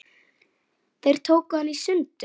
Þeir tóku hana í sundur.